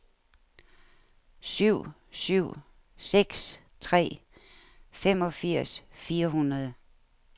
syv syv seks tre femogfirs fire hundrede